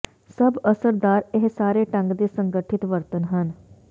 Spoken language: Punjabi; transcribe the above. ਸਭ ਅਸਰਦਾਰ ਇਹ ਸਾਰੇ ਢੰਗ ਦੇ ਸੰਗਠਿਤ ਵਰਤਣ ਹੈ